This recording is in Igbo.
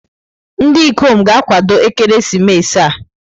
Ndị ikom ga-akwado ekeresimesi a.